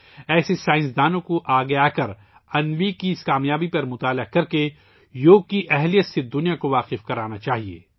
ایسے سائنسدانوں کو آگے آنا چاہیئے اور انوی کی اس کامیابی کا مطالعہ کرنا چاہیئے اور دنیا کو یوگا کی طاقت سے متعارف کرانا چاہیئے